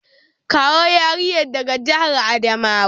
Kawo yarinya daga jihar Adamawa!